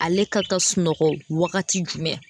Ale ka ka sunɔgɔ wagati jumɛn